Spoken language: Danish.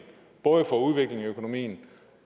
både udvikling af økonomien